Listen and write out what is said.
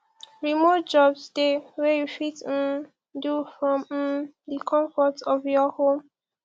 remote jobs de wey you fit um do from um the confort of your home